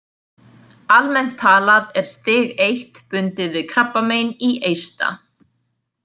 Almennt talað er stig I bundið við krabbamein í eista.